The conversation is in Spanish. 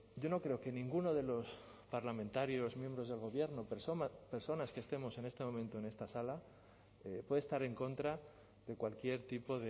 yo no creo que ninguno de los parlamentarios miembros del gobierno personas que estemos en este momento en esta sala puede estar en contra de cualquier tipo